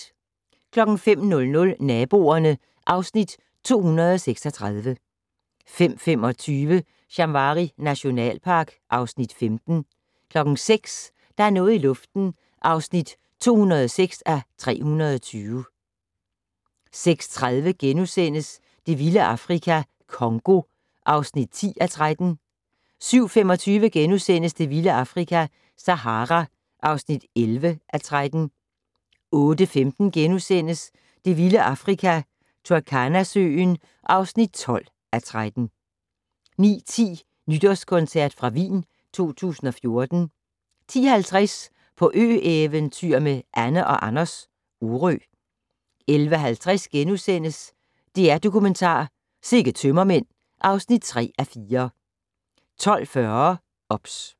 05:00: Naboerne (Afs. 236) 05:25: Shamwari nationalpark (Afs. 15) 06:00: Der er noget i luften (206:320)* 06:30: Det vilde Afrika - Congo (10:13)* 07:25: Det vilde Afrika - Sahara (11:13)* 08:15: Det vilde Afrika - Turkana-søen (12:13)* 09:10: Nytårskoncert fra Wien 2014 10:50: På ø-eventyr med Anne & Anders - Orø 11:50: DR-Dokumentar: Sikke tømmermænd (3:4)* 12:40: OBS